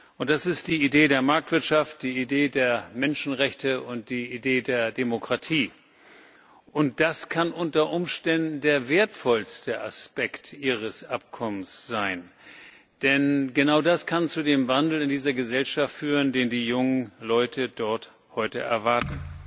Und das ist die Idee der Marktwirtschaft, die Idee der Menschenrechte und die Idee der Demokratie, und das kann unter Umständen der wertvollste Aspekt Ihres Abkommens sein. Denn genau das kann zu dem Wandel in dieser Gesellschaft führen, den die jungen Leute dort heute erwarten.